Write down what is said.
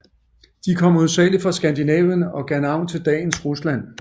De kom hovedsagelig fra Skandinavien og gav navn til dagens Rusland